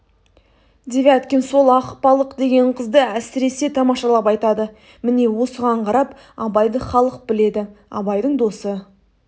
девяткин сол ақбалық деген қызды әсіресе тамашалап айтады міне осыған қарап абайды халық біледі абайдың досы